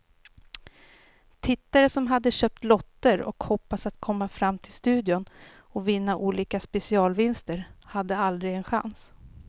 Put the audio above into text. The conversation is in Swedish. Tittare som hade köpt lotter och hoppats att komma fram till studion och vinna olika specialvinster hade aldrig en chans.